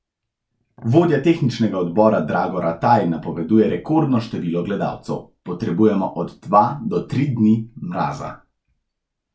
Vodja tehničnega odbora Drago Rataj napoveduje rekordno število gledalcev: 'Potrebujemo od dva do tri dni mraza.